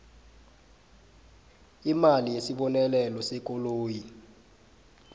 imali yesibonelelo sekoloyi